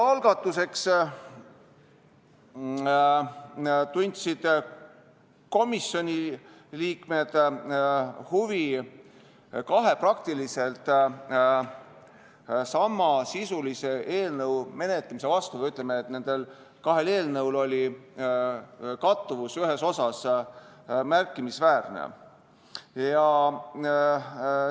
Alguses tundsid komisjoni liikmed huvi kahe praktiliselt samasisulise eelnõu menetlemise vastu või ütleme nii, et nendel kahel eelnõul oli ühes osas märkimisväärne kattuvus.